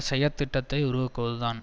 செயற்த்திட்டத்தை உருவாக்குவதுதான்